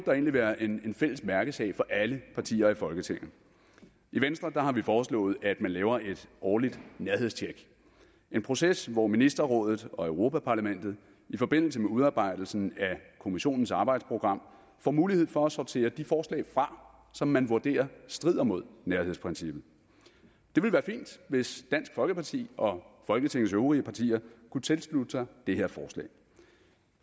egentlig være en fælles mærkesag for alle partier i folketinget i venstre har vi foreslået at man laver et årligt nærhedstjek en proces hvor ministerrådet og europa parlamentet i forbindelse med udarbejdelsen af kommissionens arbejdsprogram får mulighed for at sortere de forslag fra som man vurderer strider mod nærhedsprincippet det ville være fint hvis dansk folkeparti og folketingets øvrige partier kunne tilslutte sig det her forslag